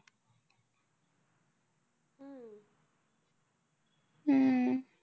हम्म